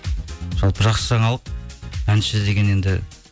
жалпы жақсы жаңалық әнші деген енді